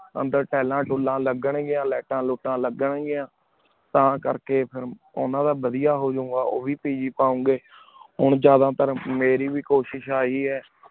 ਅੰਦਰ ਤਿਲਨ ਤੁਲਨ ਲਗਨ ਗਿਯਾਨਾ ਲਿਘ੍ਤਾਂ ਲੁਟਾਂ ਲਗਨ ਗਿਯਾੰ ਤਾਂ ਕਰ ਕੀ ਫੇਰ ਓਨਾਂ ਦਾ ਵਾਦਿਯ ਹੋ ਜੋ ਗਾ ਊ ਵੀ PG ਪਾਓ ਗੇ ਹੁਣ ਜਿਆਦਾ ਤਾਰ ਮੇਰੀ ਵੀ ਕੋਸ਼ਿਸ਼ ਅਹਿ ਆਯ